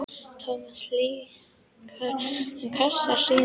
Thomas hikaði en kastaði síðan á hann kveðju.